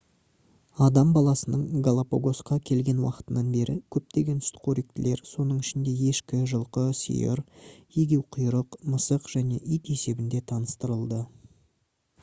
адам баласының галапагосқа келген уақытынан бері көптеген сүтқоректілер соның ішінде ешкі жылқы сиыр егеуқұйрық мысық және ит есебінде таныстырылды